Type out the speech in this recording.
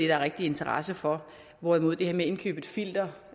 er interesse for hvorimod det her med at indkøbe et filter